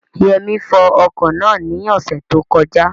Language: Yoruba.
Yẹmí fọ ọkọ̀ náà ní ọ̀sẹ̀ tó kọjá